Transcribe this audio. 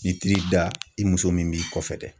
I tir'i da i muso min b'i kɔfɛ dɛ